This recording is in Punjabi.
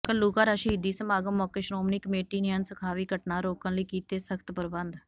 ਘੱਲੂਘਾਰਾ ਸ਼ਹੀਦੀ ਸਮਾਗਮ ਮੌਕੇ ਸ਼੍ਰੋਮਣੀ ਕਮੇਟੀ ਨੇ ਅਣਸੁਖਾਵੀ ਘਟਨਾ ਰੋਕਣ ਲਈ ਕੀਤੇ ਸਖਤ ਪ੍ਰਬੰਧ